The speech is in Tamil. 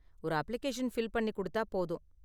ஒரு அப்ளிகேஷன் ஃபில் பண்ணி கொடுத்தா போதும்.